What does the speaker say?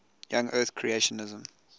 young earth creationism